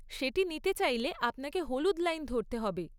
সেটি নিতে চাইলে আপনাকে হলুদ লাইন ধরতে হবে।